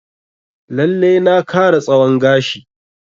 Lalle na kara tsawon gashi